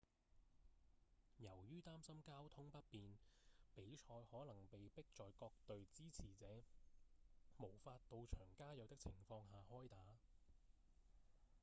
由於擔心交通不便比賽可能被迫在各隊支持者無法到場加油的情況下開打